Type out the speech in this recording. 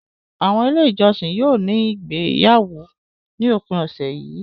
Àwọn Ilé-ìjọsìn yóò ní ìgbéyàwó ní òpin ọ̀sẹ̀ yìí.